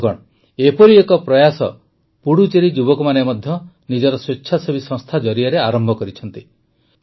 ବନ୍ଧୁଗଣ ଏପରି ଏକ ପ୍ରୟାସ ପୁଡୁଚେରି ଯୁବକମାନେ ମଧ୍ୟ ନିଜର ସ୍ୱେଚ୍ଛାସେବୀ ସଂସ୍ଥା ଜରିଆରେ ଆରମ୍ଭ କରିଛନ୍ତି